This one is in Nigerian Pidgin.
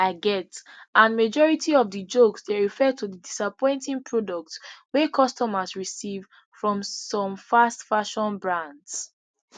i get and majority of di jokes dey refer to di disappointing products wey customers receive from some fastfashion brands